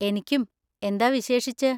എനിക്കും. എന്താ വിശേഷിച്ച്?